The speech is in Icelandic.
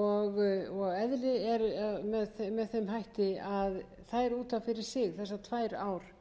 og eðli eru með þeim hætti að þær út af fyrir sig þessar tvær ár